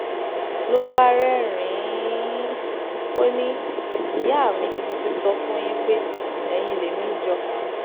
ló bá rẹ́rìn-ín ò ní ìyá mi mo ti sọ fún yín yín pé ẹ̀yin lèmi jọ